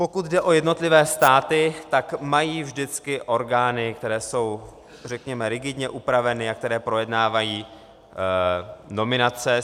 Pokud jde o jednotlivé státy, tak mají vždycky orgány, které jsou řekněme rigidně upraveny a které projednávají nominace.